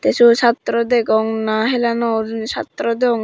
sut satra degong na hela no or satra degongge.